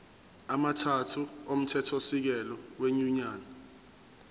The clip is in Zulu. amathathu omthethosisekelo wenyunyane